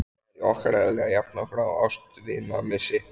Það er í okkar eðli að jafna okkur á ástvinamissi.